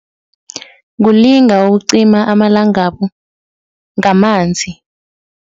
Kulinga ukucima amalangabu ngamanzi.